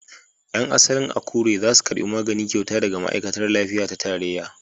Yan asalin Akure za su karbi magani kyauta daga ma'aikatar lafiya ta tarayya.